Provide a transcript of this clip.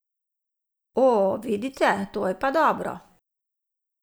O, vidite, to pa je dobro!